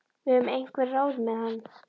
Við höfum einhver ráð með hann.